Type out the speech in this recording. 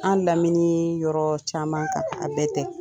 Anw lamini yɔrɔ caman a bɛɛ tɛ.